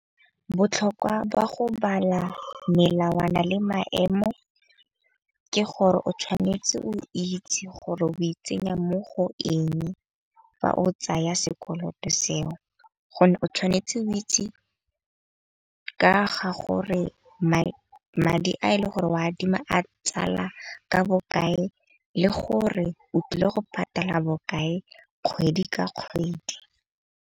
Botlhokwa ba go bala melawana le maemo, ke gore o tshwanetse o itse gore o itsenya mo go eng fa o tsaya sekoloto seo. Gonne o tshwanetse o itse ka ga gore madi a e le gore o adima a tsala ka bokae le gore o tlile go patala bokae kgwedi ka kgwedi.